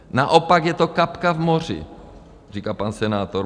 Naopak je to kapka v moři, říká pan senátor.